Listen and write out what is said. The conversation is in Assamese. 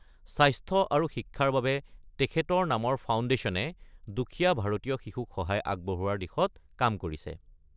স্বাস্থ্য আৰু শিক্ষাৰ বাবে তেখেতৰ নামৰ ফাউণ্ডেশ্যনে দুখীয়া ভাৰতীয় শিশুক সহায় আগবঢ়োৱাৰ দিশত কাম কৰিছে।